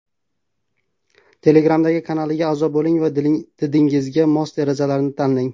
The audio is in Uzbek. Telegramdagi kanaliga a’zo bo‘ling va didingizga mos derazalarni tanlang.